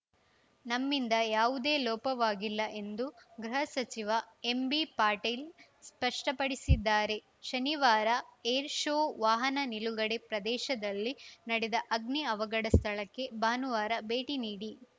ನಮ್ಮಿಂದ ಯಾವುದೇ ಲೋಪವಾಗಿಲ್ಲ ಎಂದು ಗೃಹ ಸಚಿವ ಎಂಬಿಪಾಟೀಲ್‌ ಸ್ಪಷ್ಟಪಡಿಸಿದ್ದಾರೆ ಶನಿವಾರ ಏರ್‌ ಶೋ ವಾಹನ ನಿಲುಗಡೆ ಪ್ರದೇಶದಲ್ಲಿ ನಡೆದ ಅಗ್ನಿ ಅವಘಡ ಸ್ಥಳಕ್ಕೆ ಭಾನುವಾರ ಭೇಟಿ ನೀಡಿ